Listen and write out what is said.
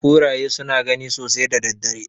Kuraye suna gani sosai da daddare.